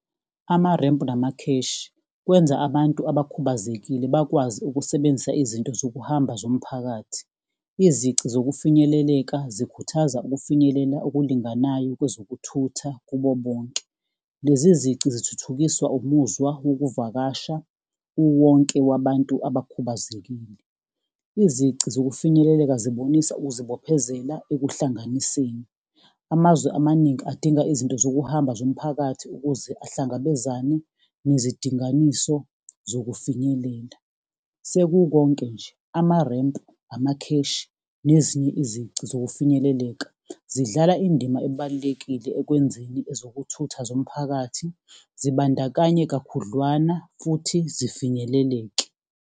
Amarempu namakheshi, kwenza abantu abakhubazekile bakwazi ukusebenzisa izinto zokuhamba zomphakathi. Izici zokufinyeleleka zikhuthaza ukufinyelela okulinganayo kwezokuthutha kubo bonke. Lezi zici zithuthukiswa umuzwa wokuvakasha, uwonke wabantu abakhubazekile. Izici zokufinyeleleka zibonisa ukuzibophezela ekuhlanganiseni. Amazwe amaningi adinga izinto zokuhamba zomphakathi ukuze ahlangabezane nezidinganiso zokufinyelela. Sekukonke nje, amarempu, amakheshi nezinye izici zokufinyeleleka zidlala indima ebalulekile ekwenzeni ezokuthutha zomphakathi zibandakanye kakhudlwana futhi zifinyeleleke.